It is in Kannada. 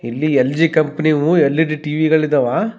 ಇಲ್ಲಿ ಎಲ್.ಜಿ ಕಂಪ್ನಿವು ಎಲ್.ಇ.ಡಿ ಟಿ.ವಿ ಗಳಿದಾವ.